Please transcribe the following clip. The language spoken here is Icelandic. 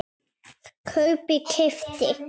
kaupi- keypti